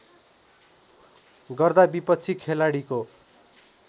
गर्दा विपक्षी खेलाडीको